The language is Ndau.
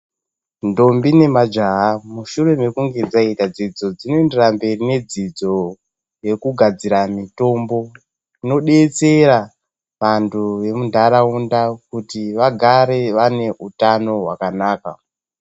Ndombi nemajaha, mushure mokunge dzaita dzidzo, dzinoendera mberi nedzidzo yekugadzira mitombo inobetsera vantu vemunharaunda kuti vagare vane utano hwakanaka.